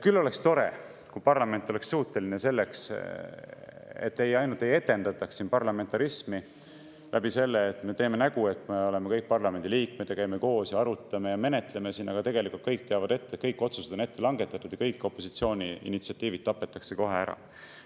Küll oleks tore, kui parlament oleks suuteline selleks, et siin ei etendataks parlamentarismi nii, et me teeme nägu, et me oleme kõik parlamendi liikmed, käime koos ja arutame ja menetleme, aga tegelikult kõik teavad ette, et otsused on langetatud ja opositsiooni initsiatiivid tapetakse kohe ära.